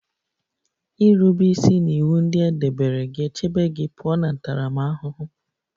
Irube isi n'iwu ndị e debere ga-echebe gị pụọ na ntaramahụhụ